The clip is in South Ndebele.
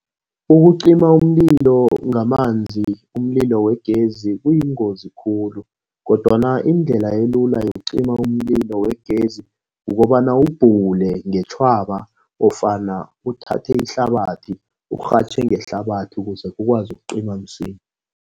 Ukucima umlilo ngamanzi umlilo wegezi kuyingozi khulu kodwana indlela elula yokucima umlilo wegezi kukobana uwubhule ngeentjhwaba ofana uthathe ihlabathi, urhatjhe ngehlabathi ukuze ukwazi ukucima msinya.